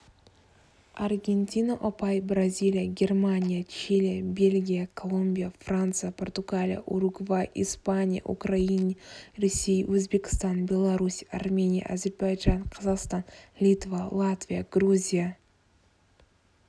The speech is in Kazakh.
аргентина ұпай бразилия германия чили бельгия колумбия франция португалия уругвай испания украина ресей өзбекстан беларусь армения әзербайжан қазақстан литва латвия грузия